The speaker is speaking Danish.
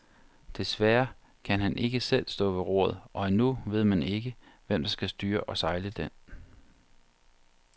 Desværre kan han ikke selv stå ved roret, og endnu ved man ikke, hvem der skal styre og sejle den.